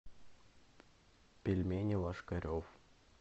пельмени ложкарев